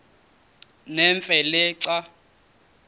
nemfe le xa